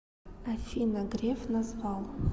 афина греф назвал